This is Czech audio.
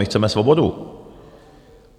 My chceme svobodu.